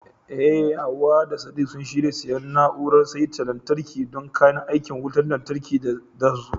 Eh Hawwa da Sadiq sun shirya siyan na'urar saita lantarki don kayan aikin wutar lantarkin da zasu zo.